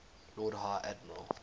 lord high admiral